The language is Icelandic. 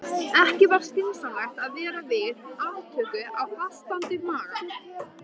Ekki var skynsamlegt að vera við aftöku á fastandi maga.